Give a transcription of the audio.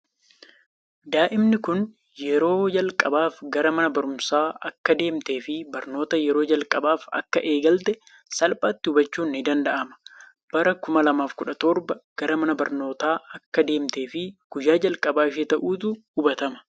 Daa'imni kun yeroo jalqabaaf gara mana barumsaa akka deemte fi barnoota yeroo jalqabaaf akkaa eegalte salphaatti hubachuun ni danda’ama. Bara 2017 gara mana barnootaa akka deemtee fi guyya jalqabaa ishee ta'uutu hubatama.